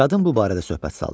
Qadın bu barədə söhbət saldı.